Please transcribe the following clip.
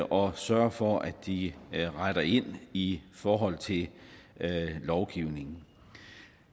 og sørge for at de retter ind i forhold til lovgivningen